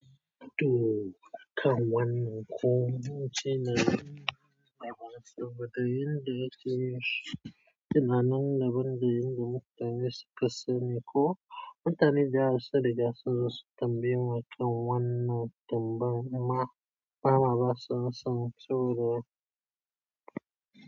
To, kan wannan kun ci ne da baki, domin da yake yin shi, ci nanan da ban da yin da mutane su kasani ko mutane da yawa sun riga da sun tambaye ni wannan kan wannan tambayar ma, mama ba sa san cewa.